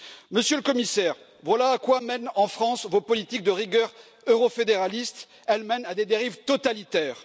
Monsieur le Commissaire, voilà à quoi mènent, en France, vos politiques de rigueur euro fédéralistes elles mènent à des dérives totalitaires.